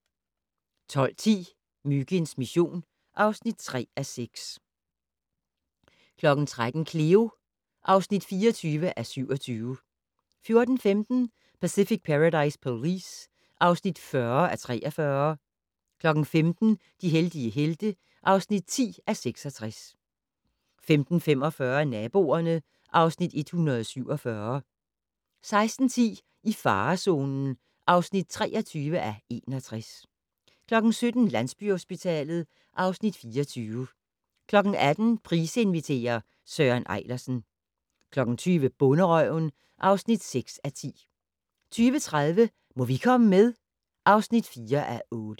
12:10: Myginds mission (3:6) 13:00: Cleo (24:27) 14:15: Pacific Paradise Police (40:43) 15:00: De heldige helte (10:66) 15:45: Naboerne (Afs. 147) 16:10: I farezonen (23:61) 17:00: Landsbyhospitalet (Afs. 24) 18:00: Price inviterer - Søren Ejlersen 20:00: Bonderøven (6:10) 20:30: Må vi komme med? (4:8)